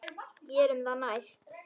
Gerum það næst.